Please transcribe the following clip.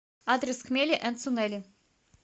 адрес хмели энд сунели